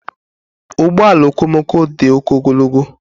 Ụgbọ ala okomoko dị oke ogologo.